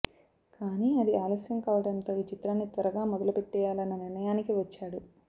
కానీ అది ఆలస్యం కావడంతో ఈ చిత్రాన్ని త్వరగా మొదలుపెట్టేయాలన్న నిర్ణయానికి వచ్చాడు